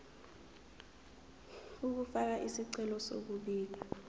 ukufaka isicelo sokubika